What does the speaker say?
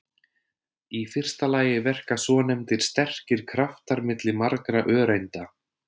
Í fyrsta lagi verka svonefndir sterkir kraftar milli margra öreinda.